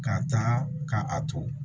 Ka tan ka a to